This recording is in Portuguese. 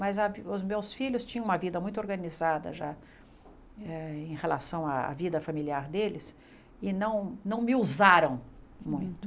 Mas a os meus filhos tinham uma vida muito organizada já eh em relação à vida familiar deles e não não me usaram muito.